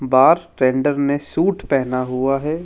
बार tender ने suit पहना हुआ है।